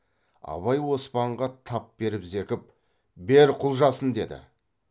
абай оспанға тап беріп зекіп бер құлжасын деді